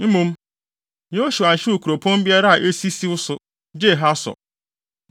Mmom, Yosua anhyew kuropɔn biara a esi siw so gye Hasor.